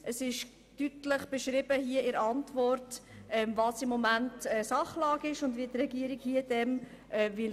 In der Antwort wird deutlich beschrieben, wie momentan die Sachlage ist und wie die Regierung hier vorgehen will.